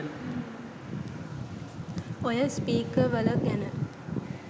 ඔය .. .ස්පිකර්වල . ගැන.